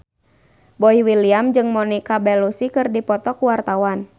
Boy William jeung Monica Belluci keur dipoto ku wartawan